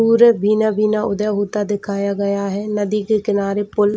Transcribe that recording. पूरा भीना भीना उदय होता दिखाया गया है नदी की किनारे पूल --